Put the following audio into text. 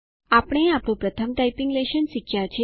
આપણે આપણું પ્રથમ ટાઈપીંગ લેશન શીખ્યા છે